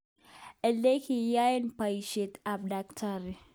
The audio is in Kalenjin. Elekiyoen boishet ab Dkt.